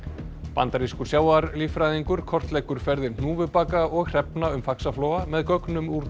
bandarískur sjávarlíffræðingur kortleggur ferðir hnúfubaka og hrefna um Faxaflóa með gögnum úr